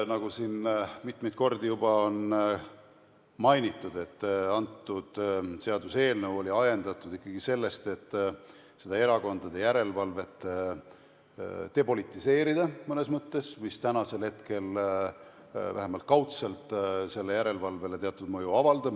Nagu siin mitmeid kordi on juba mainitud, oli see seaduseelnõu ajendatud ikkagi sellest, et seda erakondade järelevalvet depolitiseerida mõnes mõttes, sest praegu see vähemalt kaudselt järelevalvele teatud mõju avaldab.